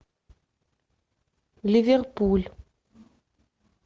ливерпуль